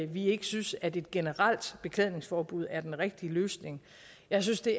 vi ikke synes at et generelt beklædningsforbud er den rigtige løsning jeg synes det